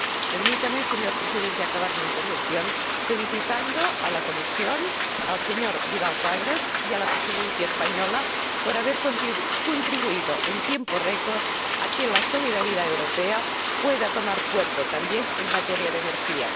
Permítame, señor Presidente, acabar mi intervención felicitando a la Comisión, al señor Vidal Quadras y a la Presidencia española por haber contribuido en tiempo récord a que la solidaridad europea pueda tomar cuerpo también en materia de energía.